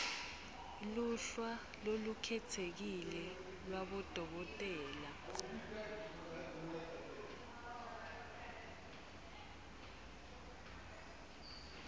luhla lolukhetsekile lwabodokotela